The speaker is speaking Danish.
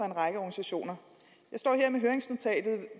en række organisationer jeg står her med høringsnotatet